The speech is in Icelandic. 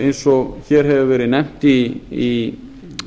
eins og hér hefur verið nefnt í